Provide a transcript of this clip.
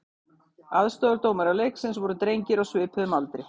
Aðstoðardómarar leiksins voru drengir á svipuðum aldri.